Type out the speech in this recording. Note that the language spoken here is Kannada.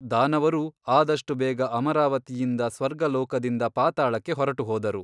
ದಾನವರೂ ಆದಷ್ಟು ಬೇಗ ಅಮರಾವತಿಯಿಂದ ಸ್ವರ್ಗಲೋಕದಿಂದ ಪಾತಾಳಕ್ಕೆ ಹೊರಟುಹೋದರು.